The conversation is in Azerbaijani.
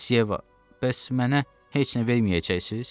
Miss Yeva, bəs mənə heç nə verməyəcəksiniz?